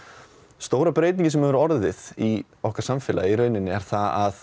stóra breytingin sem hefur orðið í okkar samfélagi er það að